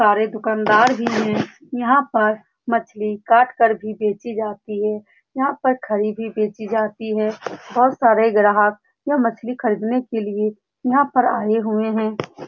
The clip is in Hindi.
सारे दुकानदार भी हैं यहाँ पर मछली काट कर भी बेची जाती है यहाँ पर खरीदी बेची जाती है बहुत सारे ग्राहक यह मछली खरीदने के लिए यहाँ पर आए हुए हैं ।